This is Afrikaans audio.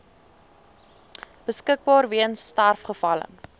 beskikbaar weens sterfgevalle